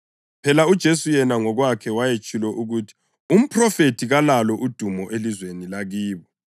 (Phela uJesu yena ngokwakhe wayetshilo ukuthi umphrofethi kalalo udumo elizweni lakibo.)